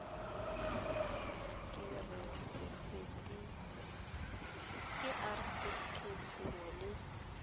ke r setefikeiti sengwe le